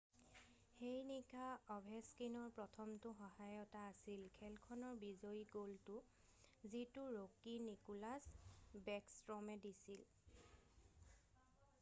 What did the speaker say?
সেই নিশা অভেছকিনৰ প্ৰথমটো সহায়তা আছিল খেলখনৰ বিজয়ী গ'লটো যিটো ৰ'কি নিকোলাছ বেকষ্ট্ৰমে দিছিল